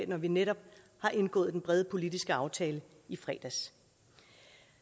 når vi netop har indgået den brede politiske aftale i fredags